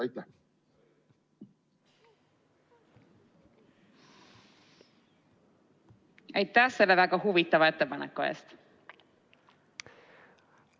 Aitäh selle väga huvitava ettepaneku eest!